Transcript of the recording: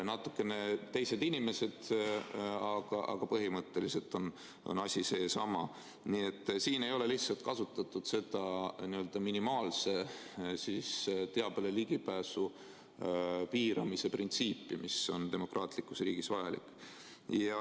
Natukene teised inimesed, aga põhimõtteliselt on asi seesama, nii et siin ei ole lihtsalt kasutatud seda n-ö minimaalse teabele ligipääsu piiramise printsiipi, mis on demokraatlikus riigis vajalik.